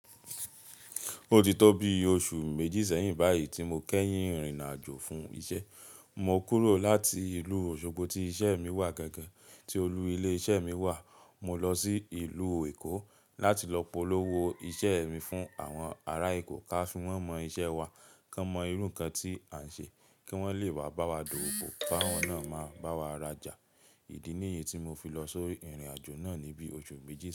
Ó ti tó bi oṣù méjì sẹ́yìn báyìí tí mo kẹ́yìn rin-àjò fún iṣẹ́. Mo kúrò láti ìlú Osogbo tí iṣẹ́ mi wà gangan, tí olú ilé iṣẹ́ mi wà. Mo lọ sí ìlú Èkó láti lọ polówó iṣẹ́ mi fún àwọn ará Èkó káfi wọn mọ iṣẹ́ wa, kí wọ́n mọ irú ǹkan tí à ń ṣe, kí wọ́n lè wá bá wa dọ́wópo ká wọn náà máa bá wa rajà. Ìdí nìyí tí mo fi lọ só ìrìn-àjò náà níbi oṣù méjì.